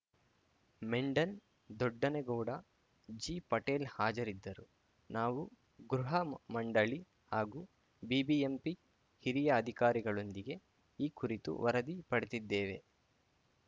ಮೆಂಡನ್‌ ದೊಡ್ಡನಗೌಡ ಜಿ ಪಟೇಲ್‌ ಹಾಜರಿದ್ದರು ನಾವು ಗೃಹ ಮಂಡಳಿ ಹಾಗೂ ಬಿಬಿಎಂಪಿ ಹಿರಿಯ ಅಧಿಕಾರಿಗಳೊಂದಿಗೆ ಈ ಕುರಿತು ವರದಿ ಪಡೆದಿದ್ದೇವೆ